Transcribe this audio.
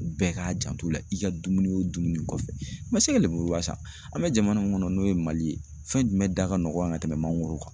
Bɛɛ k'a janto la i ka dumuni o dumuni kɔfɛ, i ma se ka le lemuruba san, an bɛ jamana min kɔnɔ n'o ye Mali ye, fɛn jumɛn da ka nɔgɔn yan ka tɛmɛ mangoro kan.